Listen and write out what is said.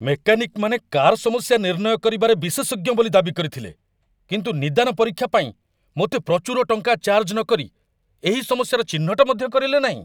ମେକାନିକ୍‌ମାନେ car ସମସ୍ୟା ନିର୍ଣ୍ଣୟ କରିବାରେ ବିଶେଷଜ୍ଞ ବୋଲି ଦାବି କରିଥିଲେ, କିନ୍ତୁ 'ନିଦାନ ପରୀକ୍ଷା' ପାଇଁ ମୋତେ ପ୍ରଚୁର ଟଙ୍କା ଚାର୍ଜ ନକରି ଏହି ସମସ୍ୟାର ଚିହ୍ନଟ ମଧ୍ୟ କରିଲେ ନାହିଁ?